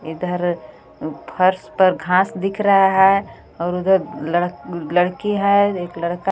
इधर फर्श पर घास दिख रहा हे और उधर लड़-लड़की हे एक लड़का --